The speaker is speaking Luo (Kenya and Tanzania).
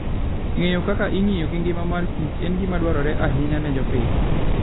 Ng'eyo kaka ong'iyo gi ngima mar Kichen gima dwarore ahinya ne jopith.